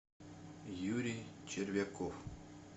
юрий червяков